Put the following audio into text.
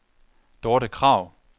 Dorthe Krag